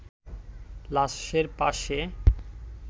লাশের পাশে